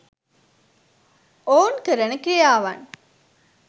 ඔවුන් කරන ක්‍රියාවන්